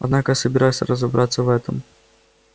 однако я собираюсь разобраться в этом